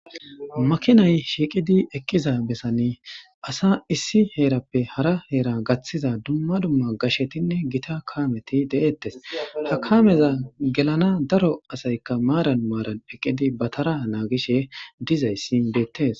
makinay shiiqidi eqqiza bessani asa issi heerappe hara heera gaththiza dumma dumma gashetinne gita kaameti deeettes. ha kameza gelana daro asaykka maaran maaran eqqidi batara naagishe dizayssi beettes.